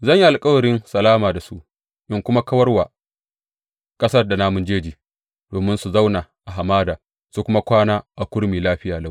Zan yi alkawarin salama da su in kuma kawar wa ƙasar da namun jeji domin su zauna a hamada su kuma kwana a kurmi lafiya lau.